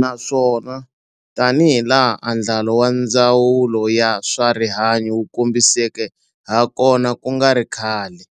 Naswona tanihilaha andlalo wa Ndzawulo ya swa Rihanyu wu kombiseke hakona ku nga ri khale,